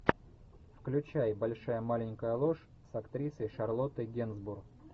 включай большая маленькая ложь с актрисой шарлоттой генсбур